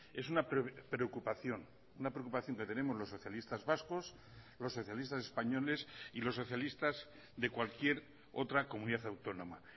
es una preocupación una preocupación que tenemos los socialistas vascos los socialistas españoles y los socialistas de cualquier otra comunidad autónoma